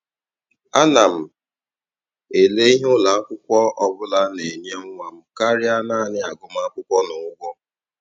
Ana m ele ihe ụlọ akwụkwọ ọ bụla na-enye nwa m karịa naanị agụmakwụkwọ na ụgwọ.